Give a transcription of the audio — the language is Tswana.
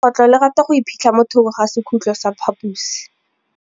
Legôtlô le rata go iphitlha mo thokô ga sekhutlo sa phaposi.